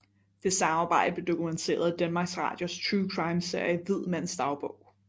Det samarbejde blev dokumenteret i Danmarks Radios true crime serie Hvid mands dagbog